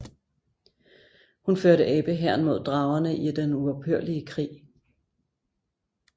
Hun førte abe hæren mod dragerne i den uophørlige krig